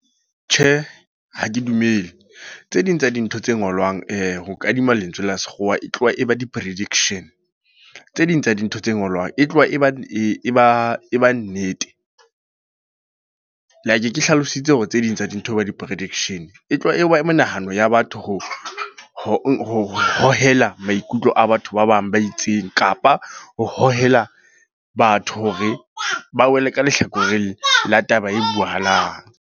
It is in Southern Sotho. Tjhe, ha ke dumele. Tse ding tsa dintho tse ngolwang ho kadima lentswe la sekgowa. E tloha e ba di-prediction. Tse ding tsa dintho tse ngolwang e tloha e ba, e ba nnete. Like ke hlalositse hore tse ding tsa dintho e ba di-prediction. E tloha e ba menahano ya batho ho ho hohela maikutlo a batho ba bang ba itseng. Kapa ho hohela batho hore ba wele ka lehlakoreng la taba e buahalang.